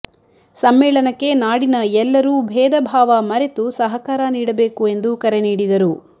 ಸಮ್ಮೇಳನಕ್ಕೆ ನಾಡಿನ ಎಲ್ಲರೂ ಭೇದಭಾವ ಮರೆತು ಸಹಕಾರ ನೀಡಬೇಕು ಎಂದು ಕರೆ ನೀಡಿದರು